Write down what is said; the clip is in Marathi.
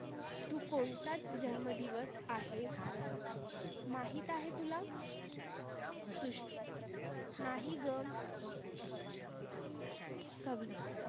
तु कोणता जन्म दिवस आहे? माहीत आहे तुला? शुश्रु नाही गं कविता